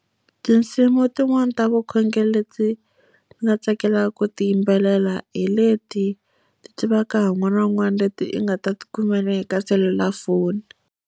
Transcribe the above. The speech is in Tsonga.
Tinsimu tin'wani ta vukhongeri leti ni nga tsakelaka ku ti yimbelela hi leti ti tivaka hi un'wana na un'wana leti i nga ta ti kumela ni le ka selulafoni.